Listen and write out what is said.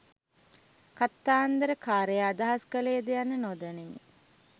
කතන්දරකාරයා අදහස් කළේද යන්න නොදනිමි.